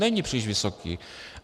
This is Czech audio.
Není příliš vysoký.